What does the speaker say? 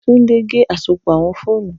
Tunde ge asopọ awọn foonu